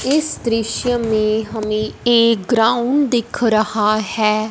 इस दृश्य में हमें एक ग्राउंड दिख रहा है।